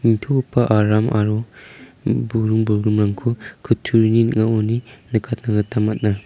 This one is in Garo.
nitogipa aram aro im buring bolgrimrangko kutturini ning·aoni nikatna gita man·a.